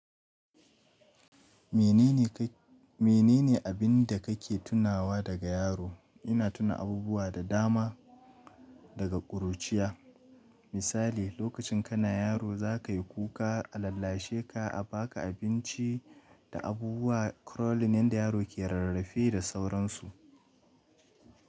Menene ka, menene abin da kake tunawa daga yaro? Ina tuna abubuwa da dama daga ƙuruciya. Misali, lokacin kana yaro za ka yi kuka, a lallashe ka, a ba ka abinci da abubuwa. Crawling nida yaro ke rarrafe da sauransu.